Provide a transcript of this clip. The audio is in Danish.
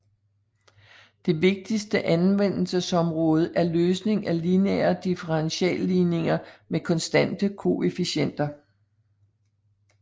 Det vigtigste anvendelsesområde er løsning af lineære differentialligninger med konstante koefficienter